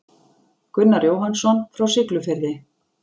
Gunnar Jóhannsson frá Siglufirði.